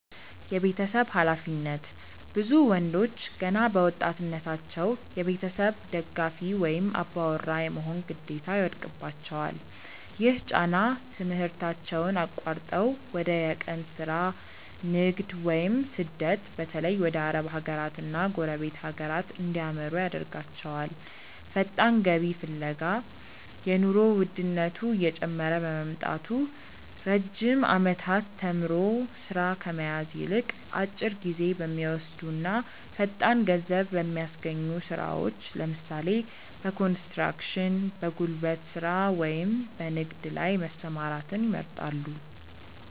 የቤተሰብ ኃላፊነት፦ ብዙ ወንዶች ገና በወጣትነታቸው የቤተሰብ ደጋፊ ወይም "አባወራ" የመሆን ግዴታ ይወድቅባቸዋል። ይህ ጫና ትምህርታቸውን አቋርጠው ወደ የቀን ሥራ፣ ንግድ ወይም ስደት (በተለይ ወደ አረብ ሀገራትና ጎረቤት ሀገራት) እንዲያመሩ ያደርጋቸዋል። ፈጣን ገቢ ፍለጋ፦ የኑሮ ውድነቱ እየጨመረ በመምጣቱ፣ ረጅም ዓመታት ተምሮ ሥራ ከመያዝ ይልቅ፣ አጭር ጊዜ በሚወስዱና ፈጣን ገንዘብ በሚያስገኙ ሥራዎች (ለምሳሌ፦ በኮንስትራክሽን፣ በጉልበት ሥራ ወይም በንግድ) ላይ መሰማራትን ይመርጣሉ።